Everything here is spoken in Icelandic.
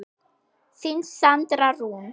Þín Sandra Rún.